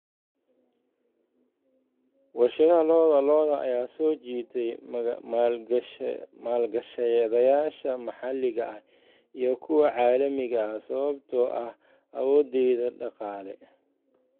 Warshadaha lo'da lo'da ayaa soo jiitay maalgashadayaasha maxalliga ah iyo kuwa caalamiga ah sababtoo ah awooddeeda dhaqaale.